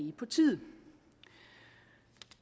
er på tide